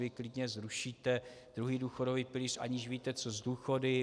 Vy klidně zrušíte druhý důchodový pilíř, aniž víte, co s důchody.